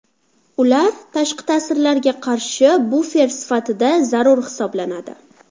Ular tashqi ta’sirlarga qarshi bufer sifatida zarur hisoblanadi.